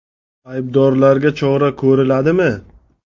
Aybdorlarga chora ko‘riladimi?